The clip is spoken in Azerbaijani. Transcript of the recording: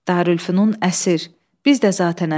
Darülfünun əsir, biz də zatən əsir.